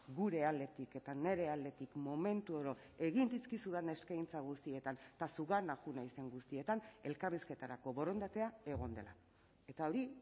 gure aldetik eta nire aldetik momentu oro egin dizkizudan eskaintza guztietan eta zugana joan naizen guztietan elkarrizketarako borondatea egon dela eta hori